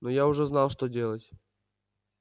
но я уже знал что делать